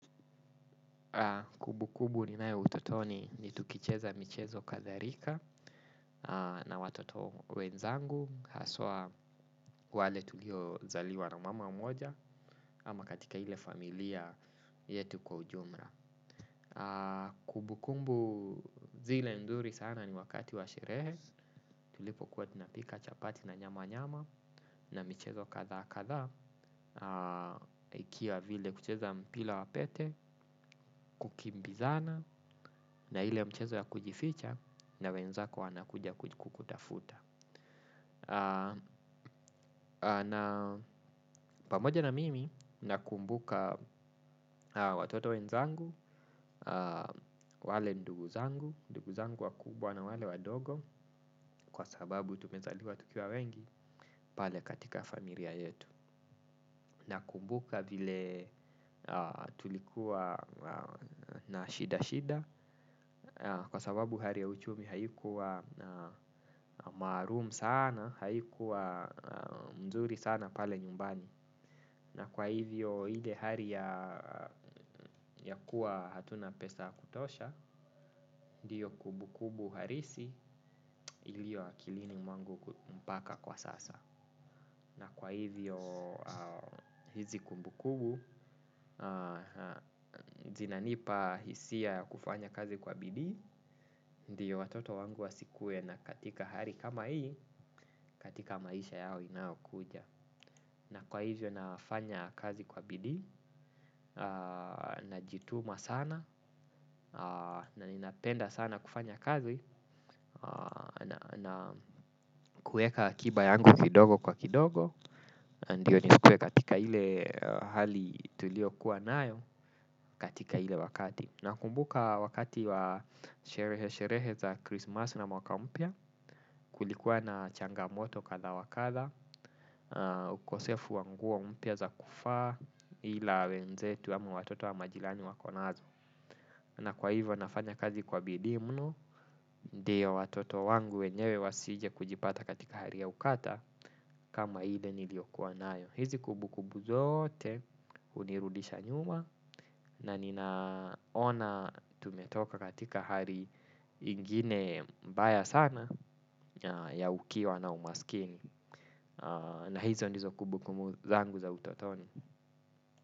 Kumbukumbu ni nayo utotoni ni tukicheza michezo kadhalika na watoto wenzangu haswa wale tulio zaliwa na mama moja ama katika ile familia yetu kwa ujumla. Kumbukumbu zile nzuri sana ni wakati washerehe tulipo kuwa tunapika chapati na nyama nyama na michezo kadha kadha. Ikiwa vile kucheza mpira wapete Kukimbizana Na ile mchezo ya kujificha na wenzako wanakuja kukutafuta na pamoja na mimi nakumbuka watoto wenzangu wale ndugu zangu ndugu zangu wakubwa na wale wadogo kwa sababu tumezaliwa tukiwa wengi. Pale katika familia yetu nakumbuka vile tulikuwa na shida shida kwa sababu hali ya uchumi haikuwa maalum sana. Haikuwa mzuri sana pale nyumbani na kwa hivyo ile hali ya kuwa hatuna pesa ya kutosha ndiyo kumbukumbu halisi iliyo akilini mwangu kumpaka kwa sasa na kwa hivyo hizi kumbukumbu zinanipa hisia kufanya kazi kwa bidii. Ndiyo watoto wangu wasikuwe na katika hali kama hii. Katika maisha yao inaokuja na kwa hizyo nafanya kazi kwa bidii. Najituma sana na ninapenda sana kufanya kazi na kueka akiba yangu kidogo kwa kidogo ndiyo nisikuwe katika ile hali tulio kuwa nayo. Katika ile wakati nakumbuka wakati wa sherehe sherehe za krismasi na mwaka mpya kulikuwa na changamoto kadha wa kadha ukosefu wa nguo umpya za kufaa. Ila wenzetu ama watoto wa majirani wako nazo na kwa hivyo nafanya kazi kwa bidii muno. Ndio watoto wangu wenyewe wasije kujipata katika hali ya ukata kama ile niliyokuwa nayo hizi kumbukumbu zote hunirudisha nyuma na ninaona tumetoka katika hali ingine mbaya sana ya ukiwa na umasikini na hizo ndizo kumbukumbu zangu za utotoni.